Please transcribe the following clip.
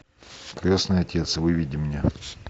крестный отец выведи мне